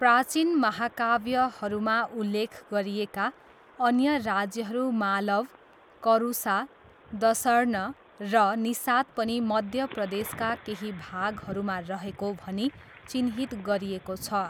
प्राचिन महाकाव्यहरूमा उल्लेख गरिएका अन्य राज्यहरू मालव, करुसा, दसर्न र निसाद पनि मध्य प्रदेशका केही भागहरूमा रहेको भनी चिह्नित गरिएको छ।